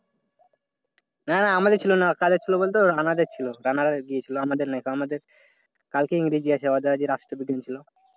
না আমাদের ছিলনা। কাদের ছিল বলতো? রানাদের ছিল। রানারা গিয়েছিল আমাদের নাই করান আমাদের কালকে ইংরেজী আছে। ওদের আজকে রাষ্ট্রবিজ্ঞান ছিল।